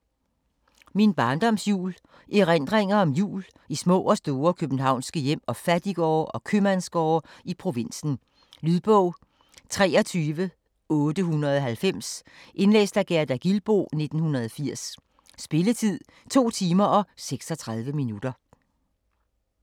Min barndoms jul Erindringer om jul i små og store københavnske hjem og fattiggårde og købmandsgårde i provinsen. Lydbog 23890 Indlæst af Gerda Gilboe, 1980. Spilletid: 2 timer, 36 minutter.